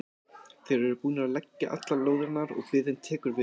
Þeir eru búnir að leggja allar lóðirnar og biðin tekur við.